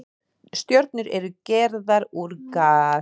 Stjörnur eru gerðar úr gasi.